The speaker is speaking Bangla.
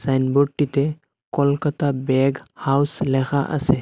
সাইনবোর্ডটিতে কলকাতা ব্যাগ হাউস লেখা আসে।